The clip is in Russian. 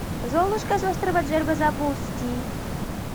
золушка с острова джерба запусти